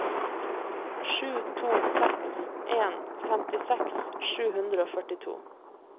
sju to seks en femtiseks sju hundre og førtito